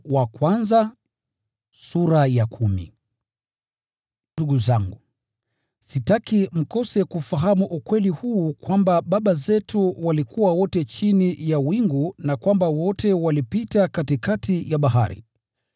Ndugu zangu, sitaki mkose kufahamu ukweli huu kwamba baba zetu walikuwa wote chini ya wingu na kwamba wote walipita katikati ya bahari.